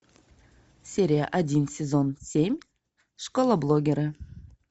серия один сезон семь школа блогера